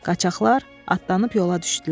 Qaçaqlar atlanıb yola düşdülər.